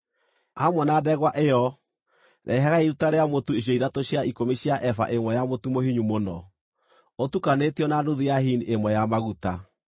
rehagai hamwe na ndegwa ĩyo iruta rĩa mũtu icunjĩ ithatũ cia ikũmi cia eba ĩmwe ya mũtu mũhinyu mũno, ũtukanĩtio na nuthu ya hini ĩmwe ya maguta.